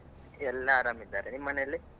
ಎಲ್ಲ ಆರಾಮಿದ್ದಾರೆ. ನಿಮ್ ಮನೇಲಿ?